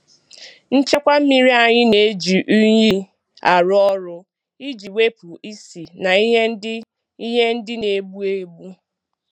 Nchekwa mmiri anyị na-eji unyi arụ ọrụ iji wepụ isi na ihe ndị ihe ndị na-egbu egbu.